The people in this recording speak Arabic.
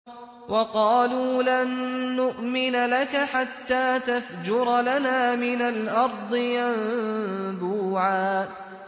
وَقَالُوا لَن نُّؤْمِنَ لَكَ حَتَّىٰ تَفْجُرَ لَنَا مِنَ الْأَرْضِ يَنبُوعًا